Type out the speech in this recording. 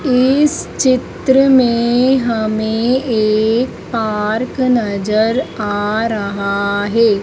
इस चित्र में हमें एक पार्क नजर आ रहा है।